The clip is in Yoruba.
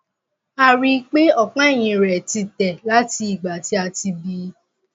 a rí i pé ọpá ẹyìn rẹ ti tẹ láti ìgbà tí a ti ti bí i